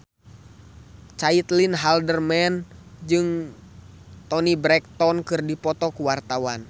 Caitlin Halderman jeung Toni Brexton keur dipoto ku wartawan